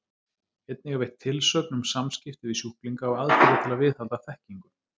Einnig er veitt tilsögn um samskipti við sjúklinga og aðferðir til að viðhalda þekkingu.